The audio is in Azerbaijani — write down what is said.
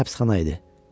Bura həbsxana idi.